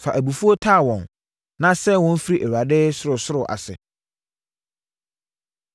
Fa abufuo taa wɔn, na sɛe wɔn firi Awurade sorosoro ase.